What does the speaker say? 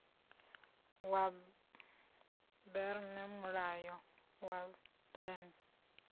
wa berne mulanga wa berne